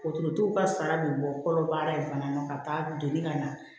Wotoro tigiw ka sara be bɔ kɔnɔbara in fana na ka taa doni ka na